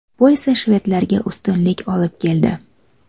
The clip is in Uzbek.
Bu esa shvedlarga ustunlik olib keldi.